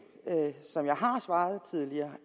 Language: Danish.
som jeg tidligere